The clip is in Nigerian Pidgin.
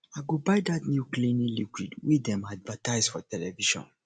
i go buy dat new cleaning liquid wey dem advertise for television